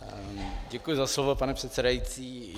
Děkuji za slovo, pane předsedající.